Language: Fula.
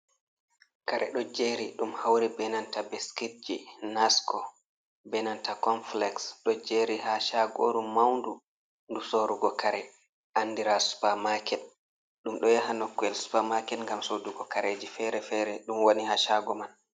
Kare ɗo jeri ɗum hauri be nanta beskitji, nasko be nanta confilex ɗo jeri ha Shagoru maundu, ndu Sorrugo kare andira supa maket. Ɗum ɗo yaha nokuyel Supa Maket ngam Sodugo kareji fere-fere ɗum woni ha Shago man.